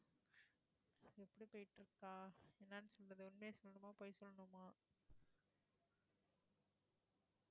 எப்படி போயிட்டிருக்கா, என்னென்னு சொல்றது உண்மையா சொல்லணுமா பொய் சொல்லணுமா